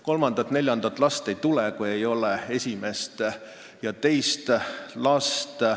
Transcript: Kolmandat ega neljandat last ei tule, kui ei ole esimest ega teist last.